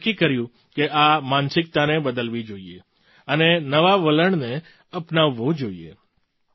આપણે નક્કી કર્યું કે આ માનસિકતાને બદલવી જોઈએ અને નવાં વલણને અપનાવવું જોઈએ